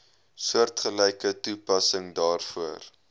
soortgelyke toepassing daarvoor